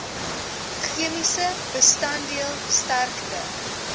chemiese bestanddeel sterkte